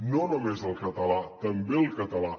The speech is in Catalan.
no només al català també al català